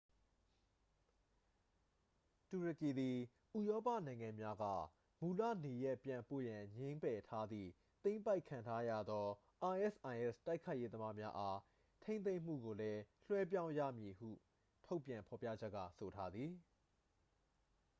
တူရကီသည် ဥရောပနိုင်ငံများက မူလနေရပ်ပြန်ပို့ရန် ငြင်းငယ်ထားသည့် သိမ်းပိုက်ခံထားရသော isis တိုက်ခိုက်ရေးသမားများအား ထိန်းသိမ်းမှုကိုလည်း လွှဲပြောင်းရယူမည်ဖြစ်သည်ဟု ထုတ်ပြန်ဖော်ပြချက်က ဆိုထားသည်